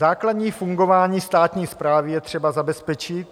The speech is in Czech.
Základní fungování státní správy je třeba zabezpečit.